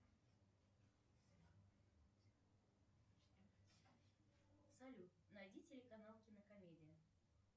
салют найди телеканал кинокомедия